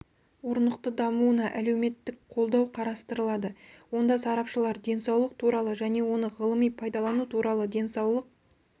орнықты дамуына әлеуметтік қолдау қарастырылады онда сарапшылар денсаулық туралы және оны ғылыми пайдалану туралы денсаулық